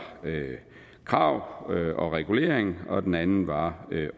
krav og regulering og den anden var